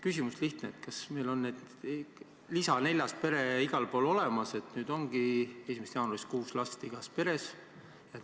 Küsimus on lihtne: kas meil on see neljas lisapere igal pool olemas ja ongi 1. jaanuarist kuus last igas peres?